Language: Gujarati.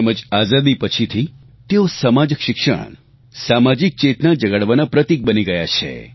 તેમજ આઝાદી પછીથી તેઓ સમાજશિક્ષણ સામાજિક ચેતના જગાડવાના પ્રતિક બની ગયા હતા